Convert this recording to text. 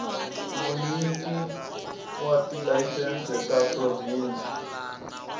vunyiki wa tilayisense ta provhinsi